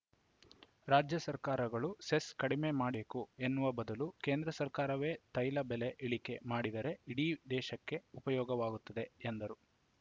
ರಾಜ್ಯ ಸರ್ಕಾರಗಳು ಸೆಸ್‌ ಕಡಿಮೆ ಮಾಡಿಕೊಬೇಕು ಎನ್ನುವ ಬದಲು ಕೇಂದ್ರ ಸರ್ಕಾರವೇ ತೈಲ ಬೆಲೆ ಇಳಿಕೆ ಮಾಡಿದರೆ ಇಡೀ ದೇಶಕ್ಕೆ ಉಪಯೋಗವಾಗುತ್ತದೆ ಎಂದರು